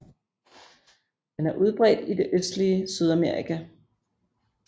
Den er udbredt i det østlige Sydamerika